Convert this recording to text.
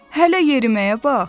Hələ yeriməyə bax!